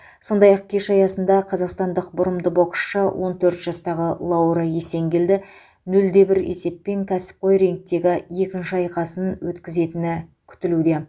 сондай ақ кеш аясында қазақстандық бұрымды боксшы он төрт жастағы лаура есенкелді нөл де бір есеппен кәсіпқой рингтегі екінші айқасын өткізетіні күтілуде